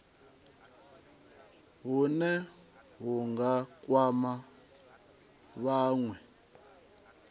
hune hu nga kwama vhanwe